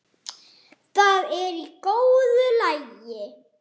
Það er í góðu lagi